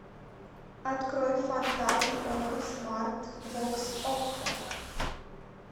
открой фантазм окко смарт бокс окко